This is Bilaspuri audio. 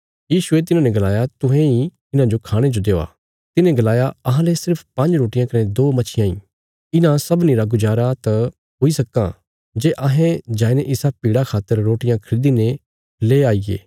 यीशुये तिन्हांने गलाया तुहें इ इन्हांजो खाणे जो देआ तिन्हें गलाया अहांले सिर्फ पांज्ज रोटियां कने दो मच्छियां ईं इन्हां सबनीं रा गुजारा तां हुई सक्कां जे अहें जाईने इसा भीड़ा खातर रोटियां खरीदी ने ले आईगे